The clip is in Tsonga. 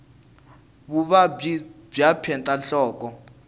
vuvabyi bya peta nhloko